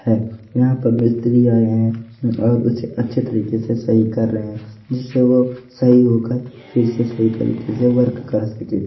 है यहां पर मिस्त्री आये है और उसके अच्छे तरीके से सही कर रहे है जिससे वो सही होकर फिर से सही तरीके से वर्क कर सके--